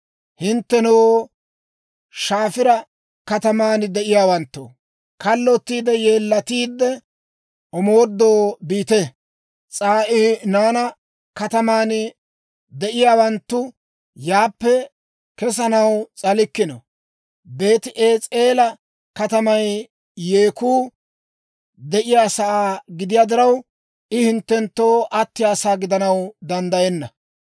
Hinttenoo, Shafiira kataman de'iyaawanttoo, kallottiide yeellatiide, omoodoo biite. S'aa'inaana kataman de'iyaawanttu yaappe kesanaw s'alikkino. Beeti-Es'eela katamay yeekku de'iyaasaa gidiyaa diraw, I hinttenttoo attiyaasaa gidanaw danddayenna.